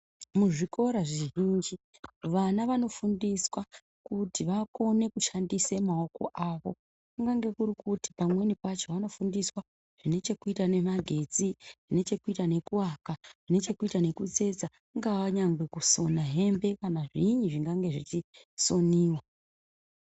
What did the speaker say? Muzvikora zvizhinji vana vanofundiswa kuti vakone kushandise maoko avo kunyange kuri kuti pamweni pacho vanofundiswa zvinechekuita nemagetsi zvinechekuita nekuaka zvine chekuita nekutsetsa kungaa nyangwe kusona hembe kana zviini zvingange zvichisoniwa.